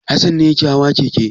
Hassan ne yake hawa keke.